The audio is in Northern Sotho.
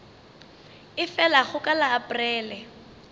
e felago ka la aprele